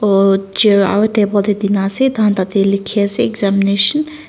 oh chairs aro table toh dina ase taikhan tade likhi na ase examination .